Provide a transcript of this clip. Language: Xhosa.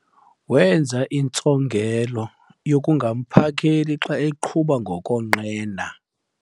Wenza intsongelo yokungamphakeli xa eqhuba ngokonqena.